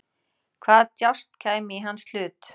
Hvaða djásn kæmi í hans hlut?